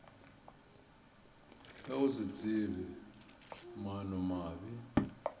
ka go se tsebe maanomabe